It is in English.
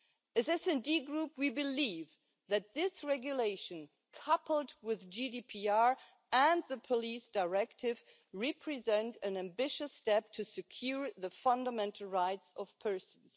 As the SD Group, we believe that this regulation, coupled with GDPR and the Police Directive, represents an ambitious step towards securing the fundamental rights of persons.